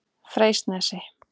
Freysnesi